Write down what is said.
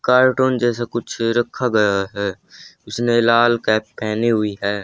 Cartoon जैसा कुछ रखा गया है उसने लाल कैप पहनी हुई हैं।